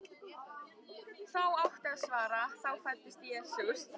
þá átti að svara: þá fæddist Jesús.